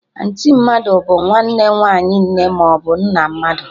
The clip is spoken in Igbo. Anti mmadụ bụ nwanne nwaanyị nne maọbụ nna mmadụ